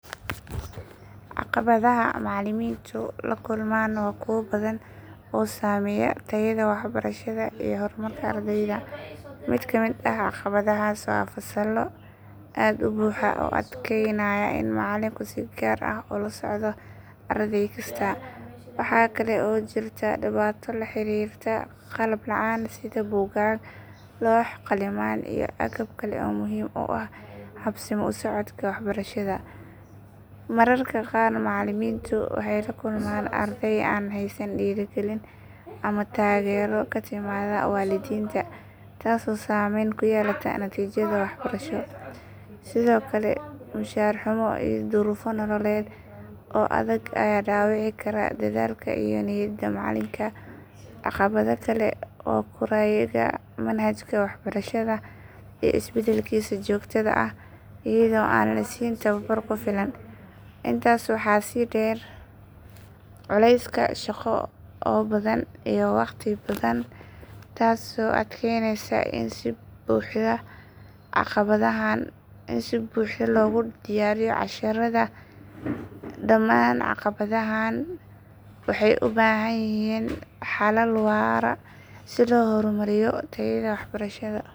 Caqabadaha macallimiintu la kulmaan waa kuwo badan oo saameeya tayada waxbarashada iyo horumarka ardayda. Mid ka mid ah caqabadahaas waa fasallo aad u buuxa oo adkaynaya in macallinku si gaar ah u la socdo arday kasta. Waxa kale oo jirta dhibaato la xiriirta qalab la'aan sida buugaag, loox, qalimaan iyo agab kale oo muhiim u ah habsami u socodka waxbarashada. Mararka qaar macallimiintu waxay la kulmaan arday aan haysan dhiirigelin ama taageero ka timaadda waalidiinta taasoo saameyn ku yeelata natiijada waxbarasho. Sidoo kale mushaar xumo iyo duruufo nololeed oo adag ayaa dhaawici kara dadaalka iyo niyadda macallinka. Caqabad kale waa kurayga manhajka waxbarashada iyo isbedbedelkiisa joogtada ah iyadoo aan la siin tababar ku filan. Intaas waxaa sii dheer culayska shaqo oo badan iyo waqti xadidan taasoo adkeynaysa in si buuxda loogu diyaariyo casharrada. Dhamaan caqabadahan waxay u baahan yihiin xalal waara si loo horumariyo tayada waxbarashada.